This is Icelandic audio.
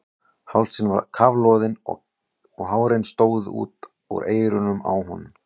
Hálsinn var kafloðinn og hárin stóðu út úr eyrunum á honum.